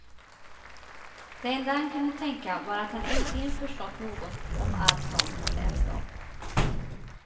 Det enda han kunde tänka var att han äntligen förstått något om allt sånt han läst om.